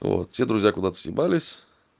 вот все друзья куда-то съебались